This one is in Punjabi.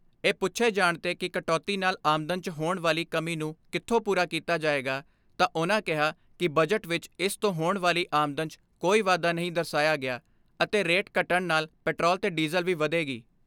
ਇਹ ਪੁੱਛੇ ਜਾਣ ਤੇ ਕਿ ਕਟੌਤੀ ਨਾਲ ਆਮਦਨ 'ਚ ਹੋਣ ਵਾਲੀ ਕਮੀ ਨੂੰ ਕਿੱਥੋਂ ਪੂਰਾ ਕੀਤਾ ਜਾਏਗਾ ਤਾਂ ਉਨ੍ਹਾਂ ਕਿਹਾ ਕਿ ਬਜਟ ਵਿਚ ਇਸ ਤੋਂ ਹੋਣ ਵਾਲੀ ਆਮਦਨ 'ਚ ਕੋਈ ਵਾਧਾ ਨਹੀਂ ਦਰਸਾਇਆ ਗਿਆ ਅਤੇ ਰੇਟ ਘਟਣ ਨਾਲ ਪੈਟਰੋਲ ਤੇ ਡੀਜ਼ਲ ਵੀ ਵਧੇਗੀ।